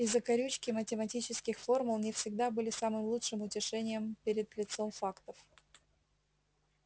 и закорючки математических формул не всегда были самым лучшим утешением перед лицом фактов